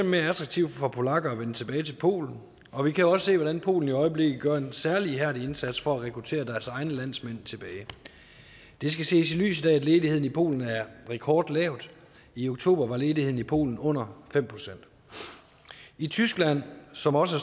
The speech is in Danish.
mere attraktivt for polakker at vende tilbage til polen og vi kan også se hvordan polen i øjeblikket gør en særlig ihærdig indsats for at rekruttere deres egne landsmænd tilbage det skal ses i lyset af at ledigheden i polen er rekordlav og i oktober var ledigheden i polen under fem procent i tyskland som også